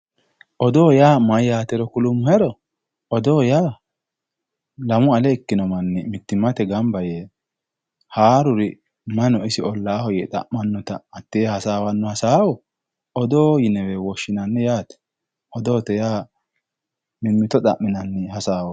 Odoo yaa mayaatero kulummohero odoo yaa lamu ale ikkino manni mittimmate ganba yee haaruru may no isi ollaaho yee xa'mannota hatee hasaawanno hasaawo odoo yinewe woshshinanni yaate odoote yaa mimmito xa'minanni hasaawooti